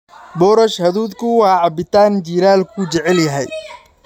Boorash hadhuudhku waa cabitaan jiilaalku jecel yahay.